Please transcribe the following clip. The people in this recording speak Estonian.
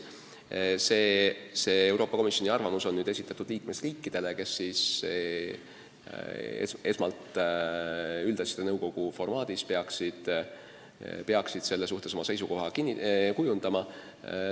See Euroopa Komisjoni arvamus on esitatud liikmesriikidele, kes esmalt üldasjade nõukogu formaadis peaksid selle suhtes oma seisukoha kujundama.